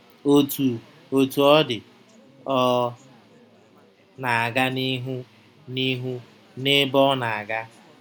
Otú Otú ọ dị, ọ na-aga n’ihu n’ihu n’ebe ọ na-aga.